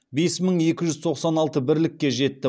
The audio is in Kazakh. бес мың екі жүз тоқсан алты бірлікке жетті